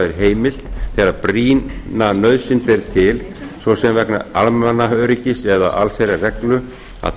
er heimilt þegar brýna nauðsyn ber til svo sem vegna almannaöryggis eða allsherjarreglu að